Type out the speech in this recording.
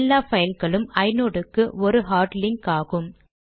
எல்லா பைல்களும் ஐநோட் க்கு ஒரு ஹார்ட் லிங்க் ஆகும்